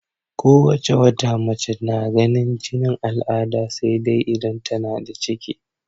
Ko wace wata mace na ganin jinin al'ada sai dai idan tana da ciki.